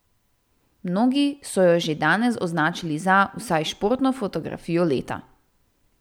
Mnogi so jo že danes označili za, vsaj športno fotografijo leta.